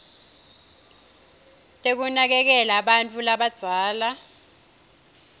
tekunakekela bantfu labadzala